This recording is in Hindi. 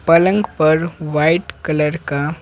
पलंग पर वाइट कलर का।